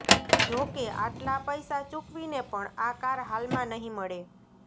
જોકે આટલા પૈસા ચૂકવીને પણ આ કાર હાલમાં નહીં મળે